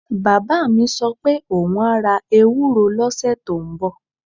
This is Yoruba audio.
Bàbá mi sọ pé òun á ra ewuro lọ́sẹ̀ tó ń bọ̀